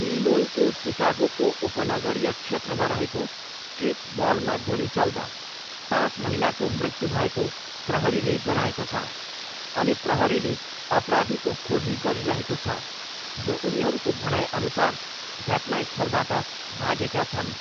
इलिनोइको सिकागोको उपनगरीय क्षेत्रमा रहेको स्ट्रिप मलमा गोली चल्दा पाँच महिलाको मृत्यु भएको प्रहरीले जनाएको छ अनि प्रहरीले अपराधीको खोजी गरिरहेको छ, जो उनीहरूको भनाइअनुसार घटनास्थलबाट भागेका छन्।